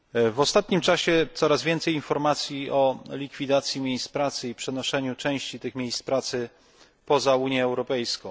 W ostatnim czasie coraz więcej informacji o likwidacji miejsc pracy i przenoszeniu części tych miejsc pracy poza Unię Europejską.